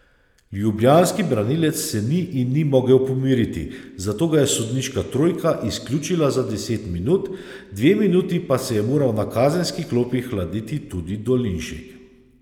Ljubljanski branilec se ni in ni mogel pomiriti, zato ga je sodniška trojka izključila za deset minut, dve minuti pa se je moral na kazenski klopi hladiti tudi Dolinšek.